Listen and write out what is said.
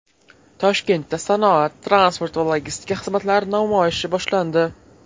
Toshkentda sanoat, transport va logistika xizmatlari namoyishi boshlandi.